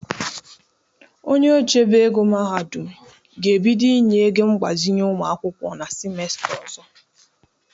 Onye ochebe ego mahadụm ga-ebido inye ego mgbazinye ụmụ akwụkwọ na simesta ọzọ.